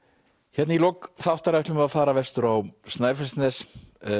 hérna í lok þáttar ætlum við að fara vestur á Snæfellsnes